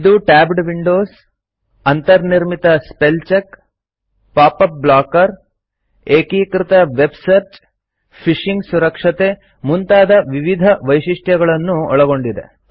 ಇದು tabbed windows ಅಂತರ್ ನಿರ್ಮಿತ ಸ್ಪೆಲ್ ಚೆಕ್ ಪಾಪಪ್ ಬ್ಲಾಕರ್ ಎಕೀಕೃತ ವೆಬ್ಸರ್ಚ್ ಫಿಶಿಂಗ್ ಸುರಕ್ಷತೆ ಮುಂತಾದ ವಿವಿಧ ವೈಶಿಷ್ಟ್ಯಗಳನ್ನೊಳಗೊಂಡಿದೆ